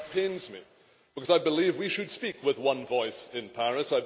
That pains me, because I believe we should speak with one voice in Paris.